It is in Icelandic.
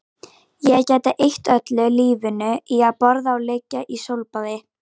Ég gæti eytt öllu lífinu í að borða og liggja í sólbaði